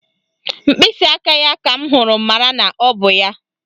Mkpịsịaka ya ka m hụrụ mara na ọ bụ ya